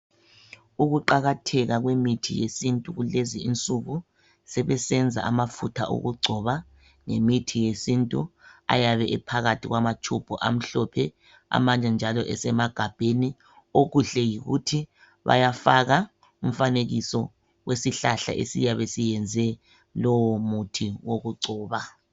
Ukuqakatheka kwemithi yesintu kulezi insuku, sebesenza amafutha okugcoba, ngemithi yesintu, ayabe ephakathi kwamatshubhu amhlophe, amanye njalo esemagabheni. Okuhle yikuthi bayafaka umfanekiso wesihlahla esiyabe siyenze lowomuthi wokugcoba.